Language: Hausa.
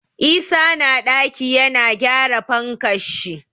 Isa na ɗaki yana gyara fankan shi.